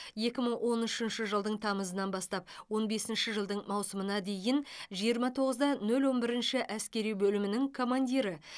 екі мың он үшінші жылдың тамызынан бастап он бесінші жылдың маусымына дейін жиырма тоғыз да нөл он бірінші әскери бөлімінің командирі